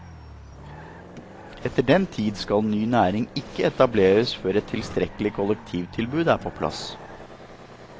Etter den tid skal ny næring ikke etableres før et tilstrekkelig kollektivtilbud er på plass.